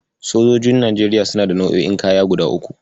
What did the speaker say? Sojojin Najeriya suna da nau'o'in kaya guda uku.